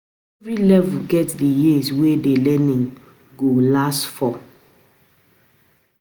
Every level get the years wey the learning go last for